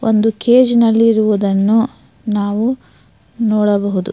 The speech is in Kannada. ಒಂದು ಕೇಜ್ ನಲ್ಲಿ ಇರುವುದನ್ನು ನಾವು ನೋಡಬಹುದು.